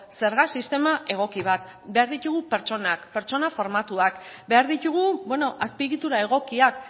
zerga sistema egoki bat behar ditugu pertsonak pertsona formatuak behar ditugu azpiegitura egokiak